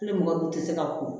Ni mɔgɔ dun tɛ se ka ko